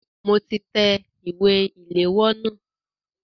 Mo ti tẹ ìwé ìléwọ́ náà.